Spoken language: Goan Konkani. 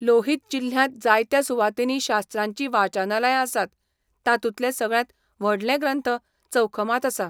लोहित जिल्ह्यांत जायत्या सुवातींनी शास्त्रांचीं वाचनालयां आसात, तातूंतलें सगळ्यांत व्हडलें ग्रंथ चौखमांत आसा.